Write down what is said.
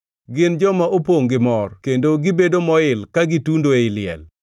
gin joma opongʼ gi mor kendo gibedo moil ka gitundo ei liel?